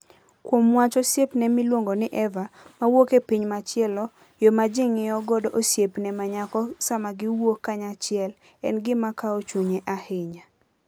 Kuom wach osiepne miluongo ni Eva, mawuok e piny machielo, yo ma ji ng'iyo godo osiepne ma nyako sama giwuok kanyachiel, en gima kawo chunye ahinya.